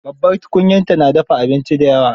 Babbar tukunyarta na dafa abinci da yawa.